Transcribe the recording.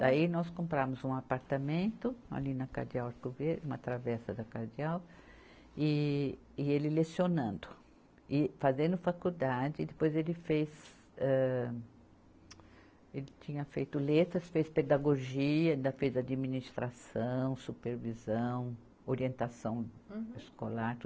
Daí nós compramos um apartamento ali na Cardeal Arco Verde, uma travessa da Cardeal, e, e ele lecionando, e fazendo faculdade, depois ele fez, âh, ele tinha feito letras, fez pedagogia, ainda fez administração, supervisão, orientação escolar, tudo.